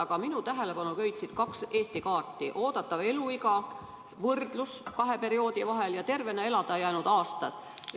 Aga minu tähelepanu köitsid kaks Eesti kaarti kahe perioodi võrdlusega: oodatav eluiga ja tervena elada jäänud aastad.